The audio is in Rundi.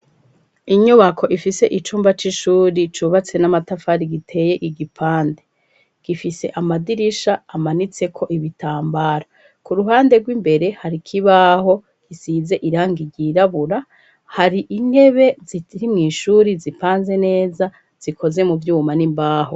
Inyubako ifise icumba c'ishure cubatse n'amatafari giteye igipande, gifise amadirisha amanitseko ibitambara, ku ruhande rw'imbere hari ikibaho gisize irangi ryirabura, hari intebe ziri mw'ishure zipanze neza zikoze mu vyuma n'imbaho.